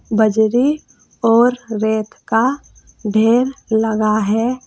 बजरी और रेत का ढेर लगा है।